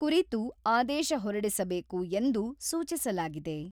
ಕುರಿತು ಆದೇಶ ಹೊರಡಿಸಬೇಕು ಎಂದು ಸೂಚಿಸಲಾಗಿದೆ.